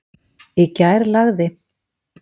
Í gær lagði????